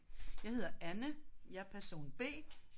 Jeg hedder Anne. Jeg er person B